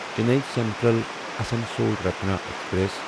Chennai central Asansol Ratna express